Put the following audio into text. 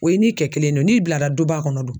O ye ni kɛ kelen de ye o, n'i bilara duba kɔnɔ dun.